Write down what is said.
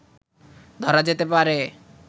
ধরা যেতে পারে